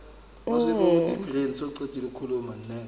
ga di a swanela go